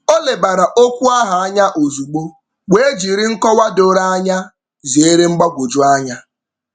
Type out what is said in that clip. O lebara okwu ahụ anya ozugbo wee jiri nkọwa doro anya zeere mgbagwojuanya.